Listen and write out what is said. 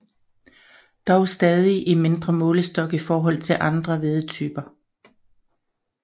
Dog stadig i mindre målestok i forhold til andre hvedetyper